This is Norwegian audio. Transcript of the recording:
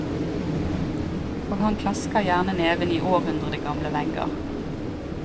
Og han klasker gjerne neven i århundregamle vegger.